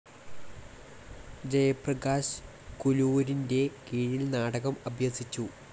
ജയപ്രകാശ് കുലൂരിൻ്റെ കീഴിൽ നാടകം അഭ്യസിച്ചു.